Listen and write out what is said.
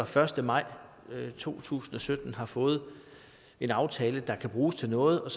første maj to tusind og sytten har fået en aftale der kan bruges til noget og